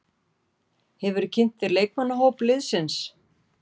Hefurðu kynnt þér leikmannahóp liðsins?